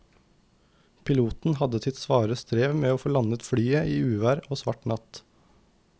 Piloten hadde sitt svare strev med å få landet flyet i uvær og svart natt.